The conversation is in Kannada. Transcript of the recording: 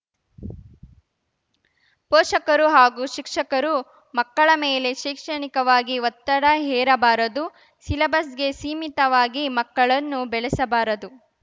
ಪೋಷಕರು ಹಾಗೂ ಶಿಕ್ಷಕರು ಮಕ್ಕಳ ಮೇಲೆ ಶೈಕ್ಷಣಿಕವಾಗಿ ಒತ್ತಡ ಹೇರಬಾರದು ಸಿಲಬಸ್‌ಗೆ ಸೀಮಿತವಾಗಿ ಮಕ್ಕಳನ್ನು ಬೆಳಸಬಾರದು